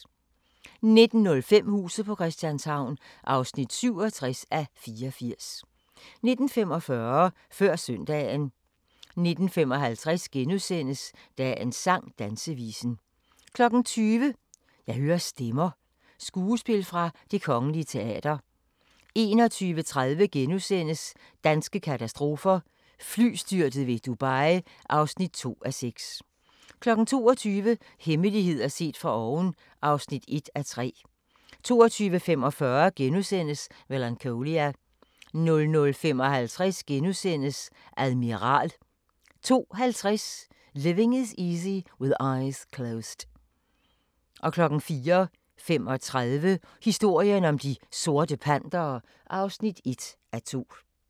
19:05: Huset på Christianshavn (67:84) 19:45: Før søndagen 19:55: Dagens sang: Dansevisen * 20:00: Jeg hører stemmer – skuespil fra Det Kgl. Teater 21:30: Danske katastrofer – Flystyrtet ved Dubai (2:6)* 22:00: Hemmeligheder set fra oven (1:3) 22:45: Melancholia * 00:55: Admiral * 02:50: Living Is Easy with Eyes Closed 04:35: Historien om De Sorte Pantere (1:2)